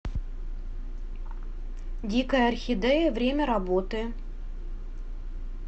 дикая орхидея время работы